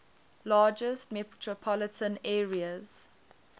largest metropolitan areas